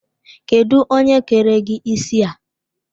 Kedụ onye kere gị isi a?